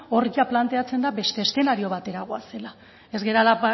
hor ia planteatzen da beste eszenatorio batera goazela ez garela